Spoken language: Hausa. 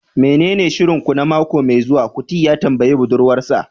menene shirin ku na mako mai zuwa? kuti ya tambayi budurwar sa